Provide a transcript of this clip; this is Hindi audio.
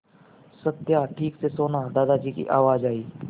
सत्या ठीक से सोना दादाजी की आवाज़ आई